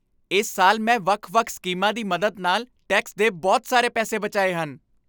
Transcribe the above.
ਇਸ ਸਾਲ ਮੈਂ ਵੱਖ ਵੱਖ ਸਕੀਮਾਂ ਦੀ ਮਦਦ ਨਾਲ ਟੈਕਸ ਦੇ ਬਹੁਤ ਸਾਰੇ ਪੈਸੇ ਬਚਾਏ ਹਨ